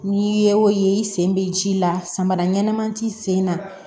N'i ye o ye i sen bɛ ji la samara ɲɛnama t'i sen na